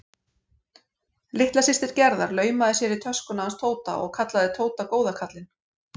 Litla systir Gerðar laumaði sér í töskuna hans Tóta og kallaði Tóta góða kallinn.